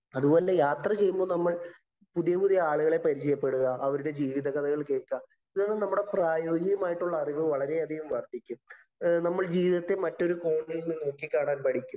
അതുപോലെ, യാത്ര ചെയ്യുമ്പോള്‍ നമ്മള്‍ പുതിയ പുതിയ ആളുകളെ പരിചയപ്പെടുക. അവരുടെ ജീവിതകഥകള്‍ കേള്‍ക്കുക. ഇതുകാരണം നമ്മുടെ പ്രായോഗികമായിട്ടുള്ള അറിവ് വളരെയധികം വര്‍ദ്ധിക്കും. നമ്മള്‍ ജീവിതത്തെ മറ്റൊരു കോണില്‍ നിന്ന് നോക്കിക്കാണാന്‍ പഠിക്കും.